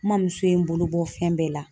N mɔmuso ye n bolo bɔ fɛn bɛɛ la.